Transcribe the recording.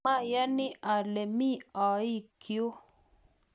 mayoni ale mi ooikyu